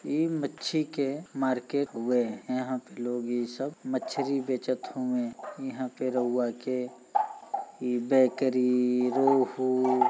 इ मच्छी के मार्केट हुउए यहाँं पे लोग इ सब मछरी बेचत हुउए यहाँं पे रउआ के इ बेकरी रुहु --